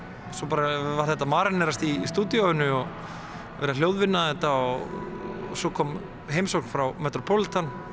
svo var þetta að marínerast í stúdíóinu og verið að hljóðvinna þetta og svo kom heimsókn frá metropolitan